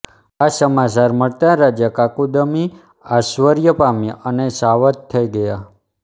આ સમાચાર મળતાં રાજા કાકુદમી આશ્ચર્ય પામ્યા અને સાવધ થઈ ગયા